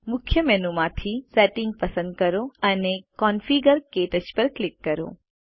મુખ્ય મેનુ માંથી સેટિંગ્સ પસંદ કરો અને કોન્ફિગર ક્ટચ પર ક્લિક કરો